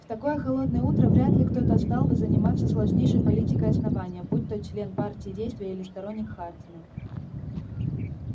в такое холодное утро вряд ли кто-то стал бы заниматься сложнейшей политикой основания будь то член партии действия или сторонник хардина